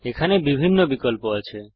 এখানে বিভিন্ন বিকল্প আছে